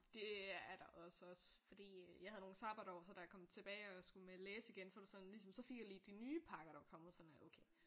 Det er der også også fordi jeg havde nogle sabbatår så da jeg kom tilbage og skulle læse igen så var det sådan ligesom så fik jeg lige de nye pakker der var kommet sådan øh okay